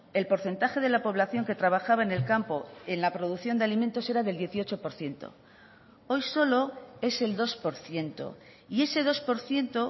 el porcentaje de la población que trabajaba en el campo en la producción de alimentos era del dieciocho por ciento hoy solo es el dos por ciento y ese dos por ciento